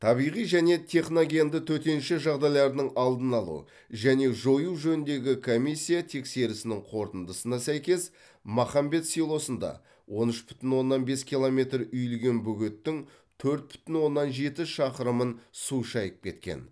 табиғи және техногенді төтенше жағдайлардың алдын алу және жою жөніндегі комиссия тексерісінің қорытындысына сәйкес махамбет селосында он үш бүтін оннан бес километр үйілген бөгеттің төрт бүтін оннан жеті шақырымын су шайып кеткен